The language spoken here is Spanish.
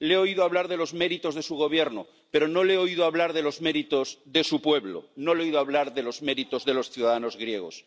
Le he oído hablar de los méritos de su Gobierno, pero no le he oído hablar de los méritos de su pueblo, no le he oído hablar de los méritos de los ciudadanos griegos.